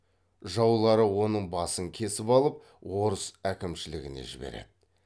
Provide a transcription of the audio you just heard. жаулары оның басын кесіп алып орыс әкімшілігіне жібереді